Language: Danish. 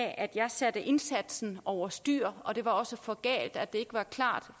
at jeg satte indsatsen over styr og det var også for galt at det ikke var klart